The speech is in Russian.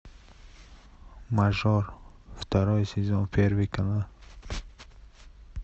мажор второй сезон первый канал